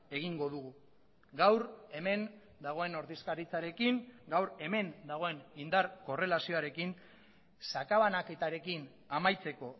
egingo dugu gaur hemen dagoen ordezkaritzarekin gaur hemen dagoen indar korrelazioarekin sakabanaketarekin amaitzeko